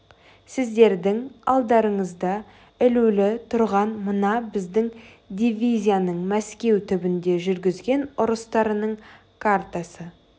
сіздердің алдарыңызда ілулі тұрған мына біздің дивизияның мәскеу түбінде жүргізген ұрыстарының картасы